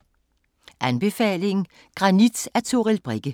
Anbefaling: Granit af Toril Brekke